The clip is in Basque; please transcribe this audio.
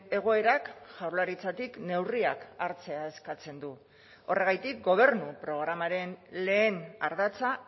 egoerak jaurlaritzatik neurriak hartzea eskatzen du horregatik gobernu programaren lehen ardatza